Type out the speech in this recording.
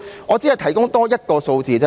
我只想提供多一個數字。